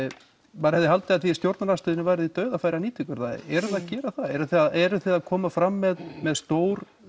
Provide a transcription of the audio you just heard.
maður hefði haldið að þið í stjórnarandstöðunni væruð í dauðafæri að nýta ykkur það eruð þið að gera það eruð þið að koma fram með með stór